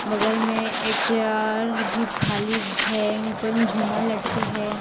बगल मे एक चेयर भी खाली हैं ऊपर में झूमर लटके हैं।